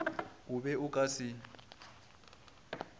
o be o ka se